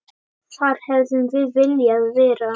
Þar hefðum við viljað vera.